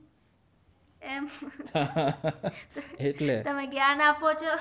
એમ હા હા હા એટલે તમે જ્ઞાન આપો છો